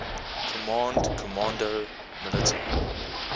command comando militar